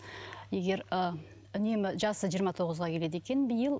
егер ы үнемі жасы жиырма тоғызға келеді екен биыл